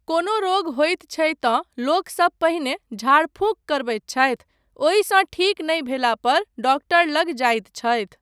कोनो रोग होइत छै तँ लोकसब पहिने झाड़फूँक करबैत छथि, ओहिसँ ठीक नहि भेला पर डॉक्टर लग जाइत छथि।